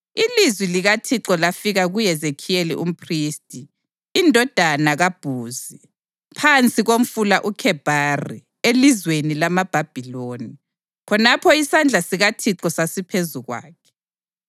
ilizwi likaThixo lafika kuHezekhiyeli umphristi, indodana kaBhuzi, phansi komfula uKhebhari elizweni lamaBhabhiloni. Khonapho isandla sikaThixo sasiphezu kwakhe.